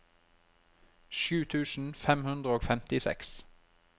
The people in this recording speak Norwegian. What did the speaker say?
sju tusen fem hundre og femtiseks